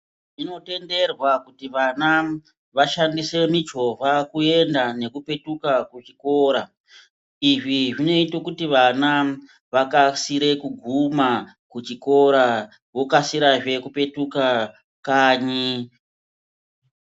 Zvinotenderwa kuti vana vashandise michovha kuenda nekupetuka kuchikora. Izvi zvinoita kuti vana vakasire kuguma kuchikora vokasikazve kupetuka kanyi.